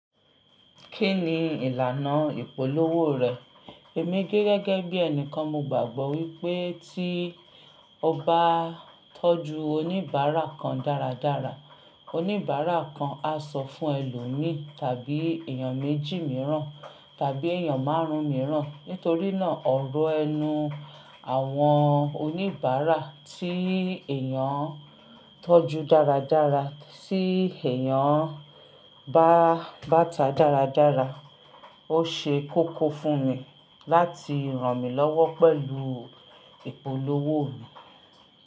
Kí ni ìlànà ìpolówó rẹ̀? Èmi gẹ́gẹ́ bí ẹnìkan, mo gbàgbọ́ wípé tí o bá tọ́jú oníbàárà kan dáradára, oníbàárà kan a sọ fún ẹlòmíì tàbí èèyàn méjì mìíràn tàbí èèyàn márùn-ún mìíràn. Nítorí náà ọ̀rọ̀ ẹnu àwọn oníbàárà tí èèyàn tọ́jú dáradára, tí èèyàn bá bàtà dáradára, ó ṣe kókó fún mi láti ràn mí lọ́wọ́ pẹ̀lú ìpolówó mi.